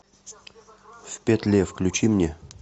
в петле включи мне